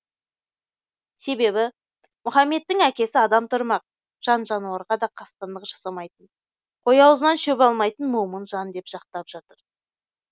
себебі мұхамедтің әкесі адам тұрмақ жан жануарға да қастандық жасамайтын қой аузынан шөп алмайтын момын жан деп жақтап отыр